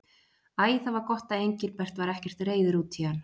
Æ, það var gott að Engilbert var ekkert reiður út í hann.